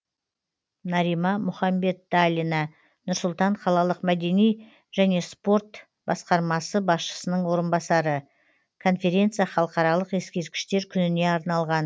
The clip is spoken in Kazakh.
нарима мұхамбеталина нұр сұлтан қалалық мәдени және спорт басқармасы басшысының орынбасары конференция халықаралық ескерткіштер күніне арналған